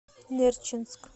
нерчинск